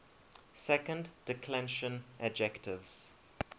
second declension adjectives